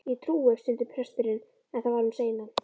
Ég trúi. stundi presturinn, en það var um seinan.